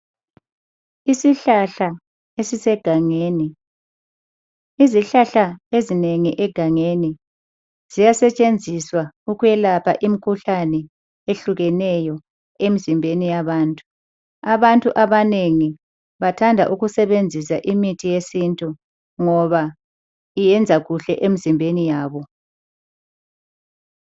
Isihlahla esisegangeni. Izihlahla ezinengi egangeni ziyasetshenziswa ukuyelapha imikhuhlane ehlukeneyo emzimbeni yabantu. Abantu abanengi bathanda ukusebenzisa imithi yesintu ngoba iyenza kuhle emzimbeni yabo.